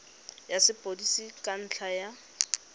ya sepodisi ka ntlha ya